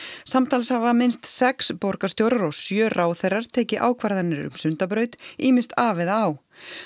samtals hafa minnst sex borgarstjórar og sjö ráðherrar tekið ákvarðanir um Sundabraut ýmist af eða á